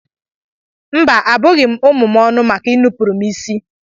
Mba, abughị m ụmụ m ọnụ maka inupụrụ m isi.